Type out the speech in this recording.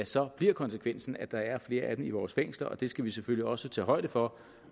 så bliver konsekvensen at der er flere af dem i vores fængsler og det skal vi selvfølgelig også tage højde for